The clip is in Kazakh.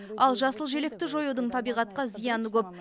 ал жасыл желекті жоюдың табиғатқа зияны көп